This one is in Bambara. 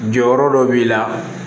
Jɔyɔrɔ dɔ b'i la